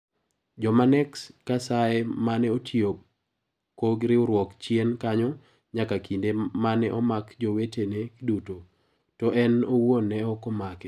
Jomanex kasaye mane otiyo ko riwruok chien kanyo nyaka kinde mane omak jowetene duto (to en owuon ne ok omake)